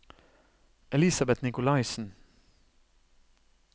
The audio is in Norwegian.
Elisabet Nicolaisen